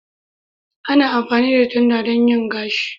Ana amfani da tanda don yin gashi